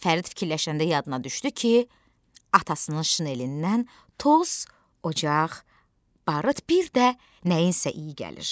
Fərid fikirləşəndə yadına düşdü ki, atasının şinelindən toz, ocaq, barıt, bir də nəyinsə iyi gəlir.